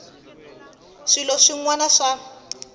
ka swilo swin wana swa